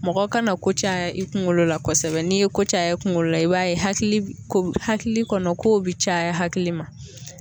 Mɔgɔ ka na ko caya, i kunkolo la kosɛbɛ, n'i ye ko caya ye kunkolo la, i b'a ye hakili hakili kɔnɔ kow bi caya hakili ma